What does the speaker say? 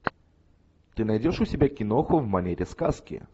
ты найдешь у себя киноху в манере сказки